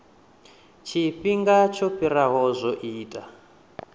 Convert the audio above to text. tshifhingani tsho fhiraho zwo ita